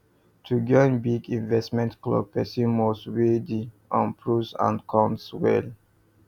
to join big investment club person must weigh the um pros and cons well